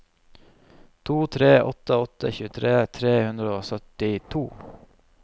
to tre åtte åtte tjuetre tre hundre og syttito